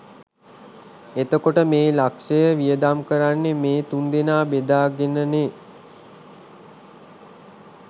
එතකොට මේ ලක්ෂය වියදම් කරන්නේ මේ තුන්දෙනා බෙදාගෙනනේ